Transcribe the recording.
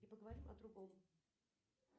и поговорим о другом